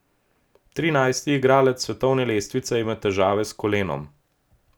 Trinajsti igralec s svetovne lestvice ima težave s kolenom.